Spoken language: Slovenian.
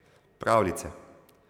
Pravljice.